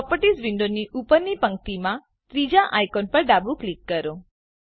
properties વિન્ડોની ઉપરની પંક્તિમાં ત્રીજા આઈકોન પર ડાબું ક્લિક કરો